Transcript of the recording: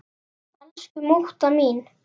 Elsku mútta mín.